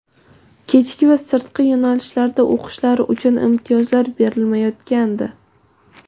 kechki va sirtqi yo‘nalishlarida o‘qishlari uchun imtiyozlar berilmayotgandi.